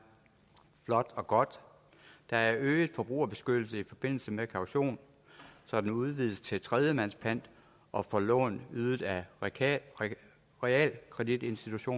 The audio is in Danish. flot og godt der er øget forbrugerbeskyttelse i forbindelse med kaution så den udvides til tredjemands pant og for lån ydet af realkreditinstitutter